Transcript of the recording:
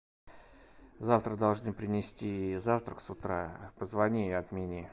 завтра должны принести завтрак с утра позвони и отмени